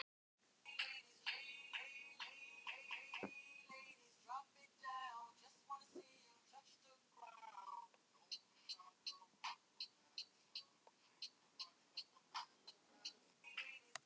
En stelpurnar eru náttúrlega misjafnar eins og þú veist.